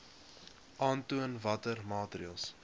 aantoon watter maatreëls